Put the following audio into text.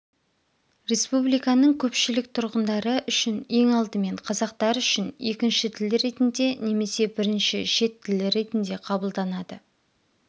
республиканың көпшілік тұрғындары үшін ең алдымен қазақтар үшін екінші тіл ретінде немесе бірінші шет тілі ретінде қабылданады